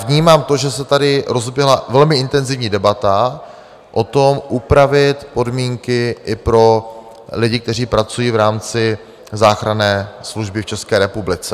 Vnímám to, že se tady rozeběhla velmi intenzivní debata o tom, upravit podmínky i pro lidi, kteří pracují v rámci záchranné služby v České republice.